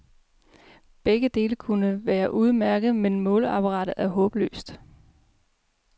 Begge dele kunne være udmærket, men måleapparatet er håbløst.